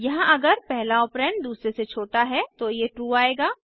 यहाँ अगर पहला ऑपरेंड दूसरे से छोटा है तो ये ट्रू आएगा